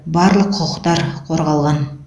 барлық құқықтар қорғалған